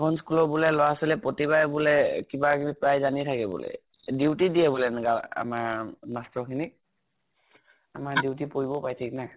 খন school ৰ বুলে লʼৰা ছৱালীয়ে প্ৰতিবাৰে বুলে কিবা কিবি prize আনিয়ে থাকে বুলে। duty দিয়ে বুলে আমাৰ master খিনিক। আমাৰ duty পৰিবও পাৰে, থিক নাই।